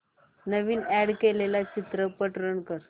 नवीन add केलेला चित्रपट run कर